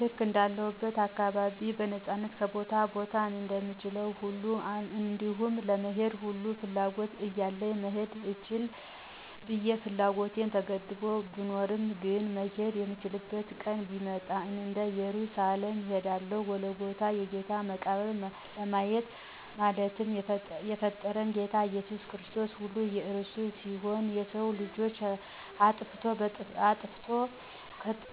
ልክ እንዳለሁበት አካባቢ በነፃነት ከቦታ ቦታ እንደምችለዉ ሁሉ እንዲሁም ለመሄድ ሙሉ ፍላጎት እያለኝ መሄድ ልችል ብየ ፍላጎቴ ተገድቦ ብኖርም ግን "መሄድ የምችልበት ቀን ቢመጣ" ወደ እየሩሳሌም እሄዳለሁ"ጎልጎታን የጌታን መቃብር "ለማየት። አለማትን የፈጠረ "ጌታ ኢየሱስ ክርስቶስ"ሁሉ የእርሱ ሲሆን የሰዉ ልጅ አጥፍቶ